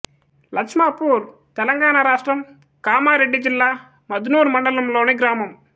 లచ్మాపూర్ తెలంగాణ రాష్ట్రం కామారెడ్డి జిల్లా మద్నూర్ మండలంలోని గ్రామం